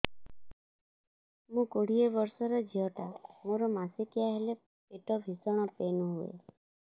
ମୁ କୋଡ଼ିଏ ବର୍ଷର ଝିଅ ଟା ମୋର ମାସିକିଆ ହେଲେ ପେଟ ଭୀଷଣ ପେନ ହୁଏ